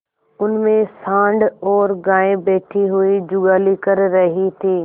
उनमें सॉँड़ और गायें बैठी हुई जुगाली कर रही थी